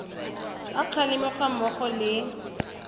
a kgalemo ga mmogo le